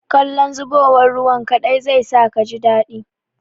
Kallon zubowar ruwan kaɗai zai sa kaji daɗi.